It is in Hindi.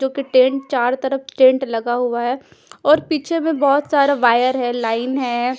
जोकि टेंट चारो तरफ टेंट लगा हुआ है और पिछे में बहोत सारा वायर है लाइन है।